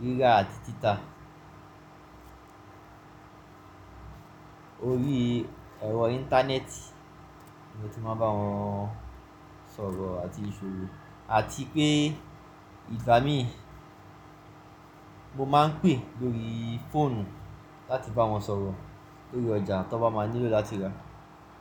rírà àti títà. Orí ẹ̀rọ Íńtánẹ́ẹ̀tì ni mo ti máa ń bá wọn sọ̀rọ̀ àti ṣòwò àti pé ìgbà mìí mo máa ń pè lórí fóònù láti bá wọn sọ̀rọ̀ lórí ọjà tí wọ́n bá máa nílò láti ra.